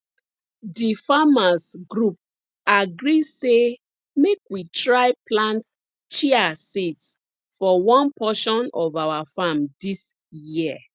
di farmers group agree say make we try plant chia seeds for one portion of our farm dis year